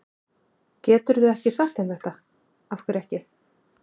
Geturðu ekki sagt þeim þetta. af hverju ekki?